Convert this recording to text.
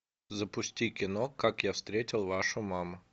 запусти кино как я встретил вашу маму